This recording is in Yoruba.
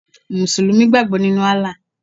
Mùsùlùmí gbàgbọ́ nínu Allah